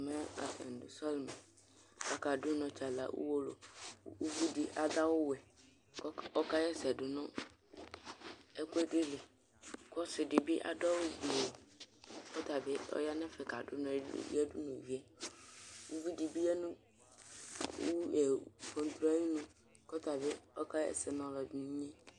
ɛmɛ atani do sɔlimɛ k'aka do unɔ tsala uwolowu kò uvi di ado awu wɛ kò ɔka ɣa ɛsɛ do no ɛkuɛdi li ko ɔse di bi ado awu gblo kò ɔtabi ya n'ɛfɛ kado unɔ yadu n'uvie uvi di bi ya no pampro ayinu k'ɔtabi ka ɣa ɛsɛ no ɔloɛdi n'inye